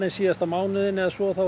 síðasta mánuðinn hefur svo